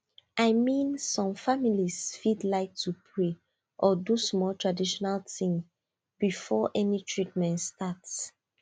i mean some families fit like to pray or do small traditional things before any treatment start